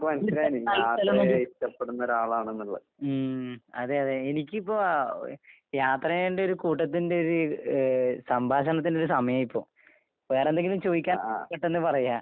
ഉം. അതെ അതെ, എനിക്കിപ്പോ ഓ യാത്രേന്റൊരു കൂട്ടത്തിന്റെയൊരിത് ഏഹ് സംഭാഷണത്തിൻ്റൊരു സമയാ ഇപ്പൊ. വേറെന്തെങ്കിലും ചോയിക്കാൻ പെട്ടെന്ന് പറയാ.